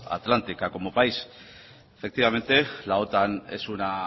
atlántica como país efectivamente la otan es una